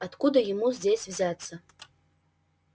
откуда ему здесь взяться